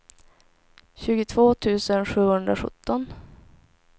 tjugotvå tusen sjuhundrasjutton